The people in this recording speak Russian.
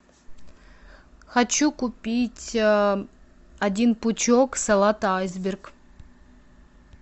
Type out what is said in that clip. хочу купить один пучок салата айсберг